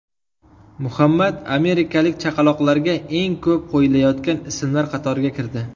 Muhammad amerikalik chaqaloqlarga eng ko‘p qo‘yilayotgan ismlar qatoriga kirdi.